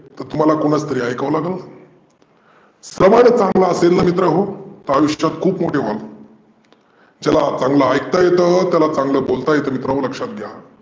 तर तुम्हाला कुणाचं तरी ऐकावा लागेल. स्रवन चांगला असेल ना मित्र हो तर आयुष्यात खुप मोठे व्हाल तुम्ही. ज्याला चांगल ऐकता येत, त्याला चांगल बोलता येतं मित्रांनो लक्षात घ्या.